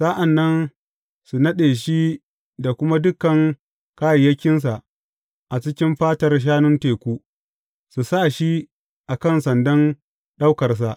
Sa’an nan su naɗe shi da kuma dukan kayayyakinsa a cikin fatar shanun teku, su sa shi a kan sandan ɗaukarsa.